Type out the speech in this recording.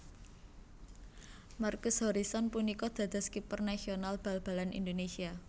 Markus Horison punika dados kiper nasional bal balan Indonésia